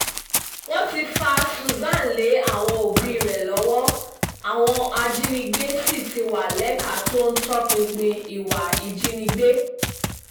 wọ́n ti fa susan lé àwọn òbí rẹ̀ lọ́wọ́ àwọn ajínigbé sì ti wá lẹ́ka tó ń tọpinpin ìwà ìjínigbé